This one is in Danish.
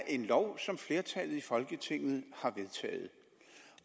en lov som flertallet i folketinget har vedtaget